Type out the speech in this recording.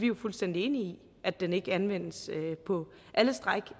jo fuldstændig enige i at den ikke anvendes på alle stræk